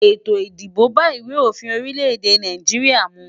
Ètò ìdìbò bá ìwé òfin orílẹ̀ èdè Nàìjíríà mu.